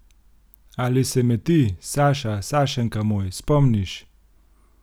Ali se me ti, Saša, Sašenka moj, spomniš?